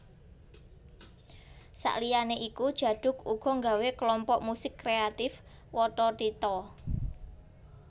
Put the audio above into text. Saliyané iku Djaduk uga nggawé Klompok Musik Kreatif Wathathitha